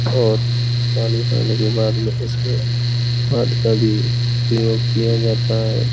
और पानी के बाद इसमें हाथ का भी प्रयोग किया जाता है |